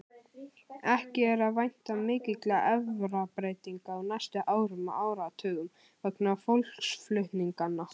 Ekki er að vænta mikilla erfðabreytinga á næstu árum og áratugum vegna fólksflutninganna.